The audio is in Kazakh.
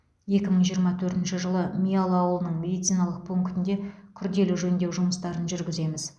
екі мың жиырма төртінші жылы миялы ауылының медициналық пунктіне күрделі жөндеу жұмыстарын жүргіземіз